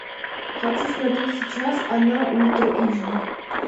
хочу смотреть сейчас она ультра эйч ди